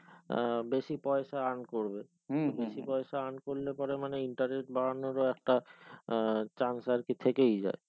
আহ বেশি পায়সা earn করবে বেশি পায়সা earn করলে পরে মানে interest বাড়ানো বা একটা আহ chance আরকি থেকেই যাই রেট তা বাধিয়ে